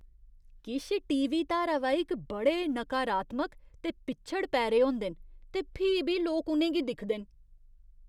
किश टीवी धारावाहिक बड़े नकारात्मक ते पिच्छड़ पैरे होंदे न ते फ्ही बी लोक उ'नें गी दिखदे न।